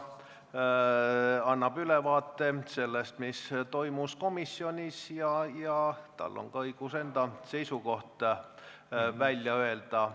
– esindaja annab ülevaate sellest, mis toimus komisjonis, ja tal on ka õigus enda seisukoht välja öelda.